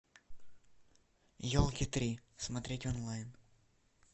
елки три смотреть онлайн